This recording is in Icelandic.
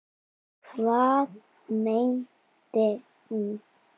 Hvað meinti hún?